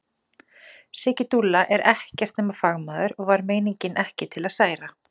Siggi dúlla er ekkert nema fagmaður og var meiningin ekki til að særa.